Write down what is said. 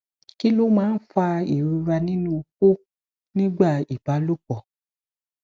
kí ló máa ń fa ìrora nínú oko nígbà ìbálòpọ